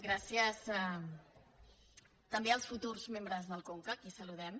gràcies també als futurs membres del conca a qui saludem